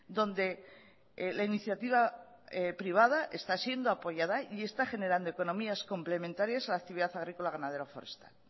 donde la iniciativa privada está siendo apoyada y está generando economías complementarias a la actividad agrícola ganadero forestal